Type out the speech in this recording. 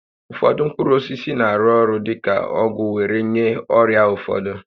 Ụfọdụ mkpụrụ osisi na-arụ orụ dị ka ọgwụ were nye ọrịa ụfọdụ